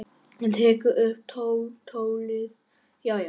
Hann tekur upp tólið: Já, já.